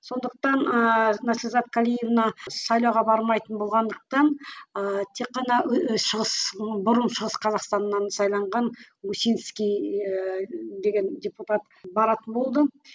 сондықтан ыыы наслизат калиевна сайлауға бармайтын болғандықтан ыыы тек қана шығыс бұрын шығыс қазақстаннан сайланған усинский ыыы деген депутат баратын болды